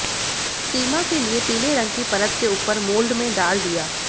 सीमा के लिए पीले रंग की परत के ऊपर मोल्ड में डाल दिया